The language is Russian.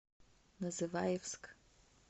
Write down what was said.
называевск